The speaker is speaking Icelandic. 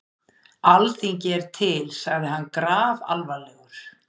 Alþingi er til, sagði hann grafalvarlegur.